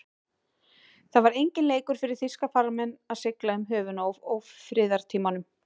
Það var enginn leikur fyrir þýska farmenn að sigla um höfin á ófriðartímum.